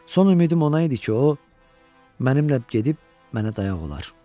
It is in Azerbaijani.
Son ümidim ona idi ki, o mənimlə gedib mənə dayaq olar.